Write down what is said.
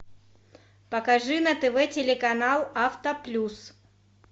покажи на тв телеканал авто плюс